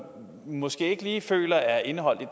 måske ikke lige føler er indeholdt i